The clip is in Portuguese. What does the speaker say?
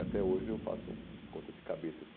Até hoje eu faço conta de cabeça, etc.